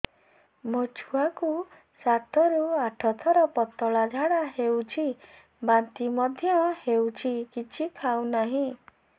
ମୋ ଛୁଆ କୁ ସାତ ରୁ ଆଠ ଥର ପତଳା ଝାଡା ହେଉଛି ବାନ୍ତି ମଧ୍ୟ୍ୟ ହେଉଛି କିଛି ଖାଉ ନାହିଁ